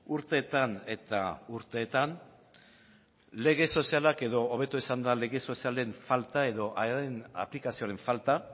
urteetan eta urteetan lege sozialak edo hobeto esanda lege sozialen falta edo haien aplikazioaren falta